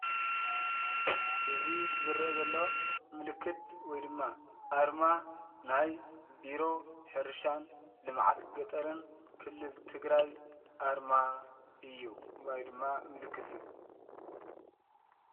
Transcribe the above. እዚ ዝረአ ዘሎ ምልክት ወይ ድማ ኣርማ ናይ ቢሮ ሕርሻን ልምዓት ገጠርን ክልል ትግራይ ኣርማ እዩ ወይ ድማ ምልክት እዩ፡፡